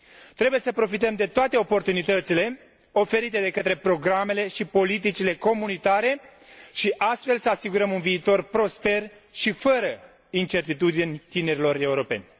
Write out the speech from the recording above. Trebuie să profităm de toate oportunitățile oferite de către programele și politicile comunitare și, astfel, să asigurăm un viitor prosper și fără incertitudini tinerilor europeni.